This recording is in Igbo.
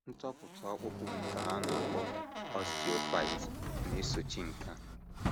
Ntopụta ọkpụkpụ nke a na - akpọ osteophytes na - esochi nke a.